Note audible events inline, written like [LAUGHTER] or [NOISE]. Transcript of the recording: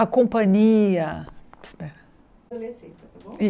A companhia espera [UNINTELLIGIBLE]